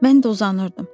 Mən də uzanırdım.